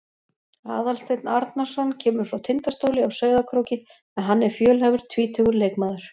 Aðalsteinn Arnarson kemur frá Tindastóli á Sauðárkróki en hann er fjölhæfur tvítugur leikmaður.